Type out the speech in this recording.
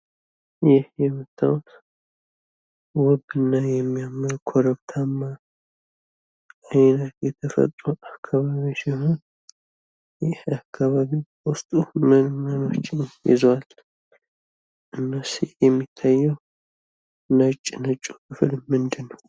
ይህ የምታዩት ውብ እና የሚያምር ኮረብታማ አይነት የተፈጥሮ አካባቢ ሲሆን ይህ አካባቢ በውስጡ ምን ምኖችን ይዟል? እነዚህ የሚታየው ነጭ ነጩ ክፍል ምንድን ነው?